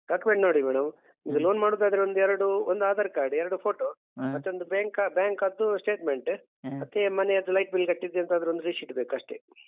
Document ನೋಡಿ madam ಇದು loan ಮಾಡುದಾದ್ರೆ ಒಂದೆರಡು ಒಂದು Aadhaar card ಎರಡು photo ಮತ್ತೊಂದು bank bank ಅದ್ದು statement ಮತ್ತೆ ಮನೆಯದ್ದು light bill ಕಟ್ಟಿದ್ದೆಂತಾದ್ರೊಂದ್ ರಿಶೀಟ್ ಬೇಕು ಅಷ್ಟೇ.